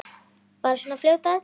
Bara svona fljót að öllu.